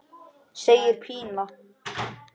segir Pína.